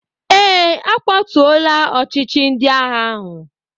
Ee, a kwatuọla ọchịchị ndị agha ahụ